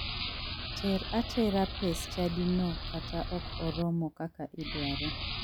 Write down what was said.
Ter atera pes chadino kata ok oromo kaka idware.